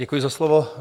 Děkuji za slovo.